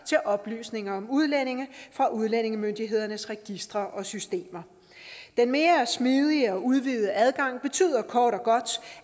til oplysninger om udlændinge fra udlændingemyndighedernes registre og systemer den mere smidige og udvidede adgang betyder kort og godt